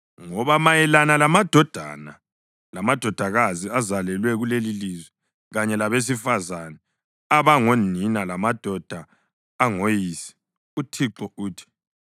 Ngoba mayelana lamadodana lamadodakazi azalelwe kulelilizwe kanye labesifazane abangonina lamadoda angoyise uThixo uthi: